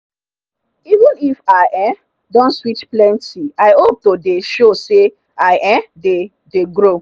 even if i um don switch plenty i hope to dey show say i um dey dey grow.